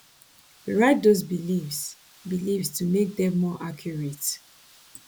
rewrite those beliefs beliefs to make dem more accurate